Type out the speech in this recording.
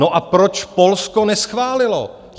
No a proč Polsko neschválilo?